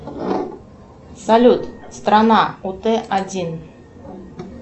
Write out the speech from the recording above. салют страна ут один